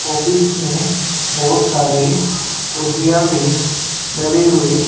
office में बहुत सारी कुर्सीया भी डली हुई--